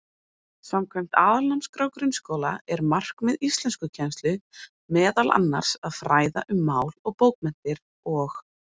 Samkvæmt Aðalnámskrá grunnskóla er markmið íslenskukennslu meðal annars að fræða um mál og bókmenntir og.